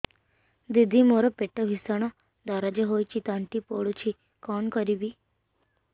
ଦିଦି ମୋର ପେଟ ଭୀଷଣ ଦରଜ ହୋଇ ତଣ୍ଟି ପୋଡୁଛି କଣ କରିବି